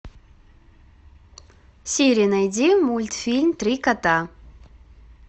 сири найди мультфильм три кота